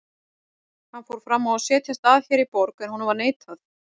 Hann fór fram á að setjast að hér í borg, en honum var neitað.